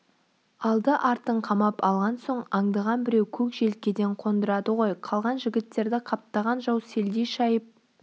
алды-артын қамап алған соң аңдыған біреу көк желкеден қондырады ғой қалған жігіттерді қаптаған жау селдей шайып